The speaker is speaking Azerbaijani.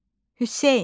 Hüseyn.